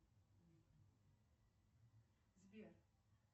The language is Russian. сбер